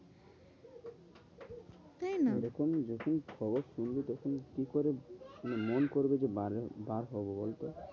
তাইনা? এরকম যখন খবর শুনবি তখন কি করে মন করবে যে বাইরে বার হবো বলতো?